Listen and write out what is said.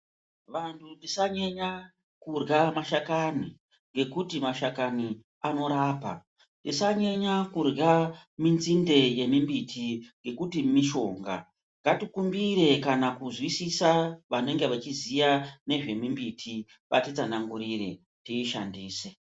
Vantu tisanyenya kurya mashakani ngekuti mashakani anorapa, tisanyenya kurya minzinde yemimbiti ngekuti mishonga. Ngatikumbire kana kuzwisisa vanenge vachiziya nezvemimbiti vatitsanangurire tishandise.